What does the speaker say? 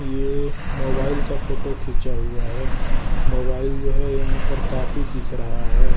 ये मोबाइल का फोटो खींचा हुआ है। मोबाइल जो है यहां पर काफी दिख रहा है।